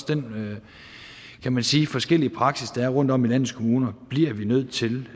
den kan man sige forskellige praksis der er rundtom i landets kommuner bliver vi nødt til